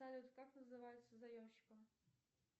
салют как называется заемщиком